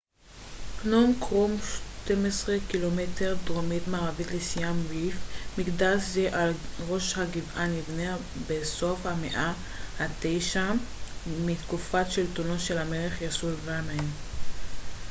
"פנום קרום 12 ק""מ דרומית־מערבית לסיאם ריפ. מקדש זה על ראש הגבעה נבנה בסוף המאה ה־9 בתקופת שלטונו של המלך יסוברמן yasovarman.